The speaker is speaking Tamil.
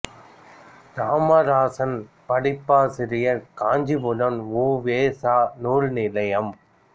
இராமராசன் பதிப்பாசிரியர் காஞ்சிப்புராணம் உ வே சா நூல் நிலையம்